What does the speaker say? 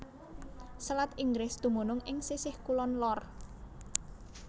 Selat Inggris dumunung ing sisih kulon lor